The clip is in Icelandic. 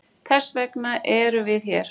Þessvegna eru við hér.